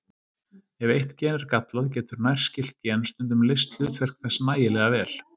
Ef eitt gen er gallað, getur nærskylt gen stundum leyst hlutverk þess nægilega vel.